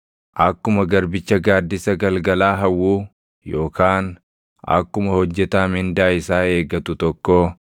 Akkuma garbicha gaaddisa galgalaa hawwuu, yookaan akkuma hojjetaa mindaa isaa eegatu tokkoo,